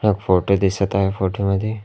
एक फोटो दिसत आहे फोटो मध्ये--